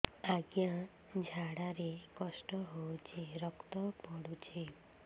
ଅଜ୍ଞା ଝାଡା ରେ କଷ୍ଟ ହଉଚି ରକ୍ତ ପଡୁଛି